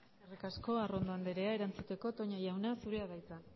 eskerrik asko arrondo andrea erantzuteko toña jauna zurea da hitza